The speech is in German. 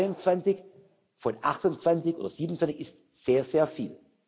22 von 28 oder 27 ist sehr, sehr viel.